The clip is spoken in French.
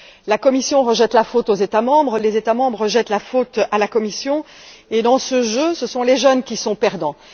La Commission rejette la faute sur les États membres, les États membres rejettent la faute sur la Commission. Dans ce jeu, ce sont les jeunes qui sont perdants.